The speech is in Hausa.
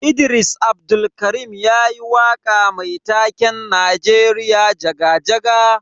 Idris Abdulkarim yayi waka mai taken Najeriya jaga-jaga.